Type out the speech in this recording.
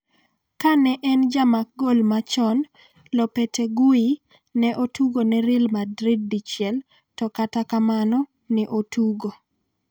kane en jamak gol machon Lopetegui ne otugo ne Real Madrid dichiel to kata kamano ne otugo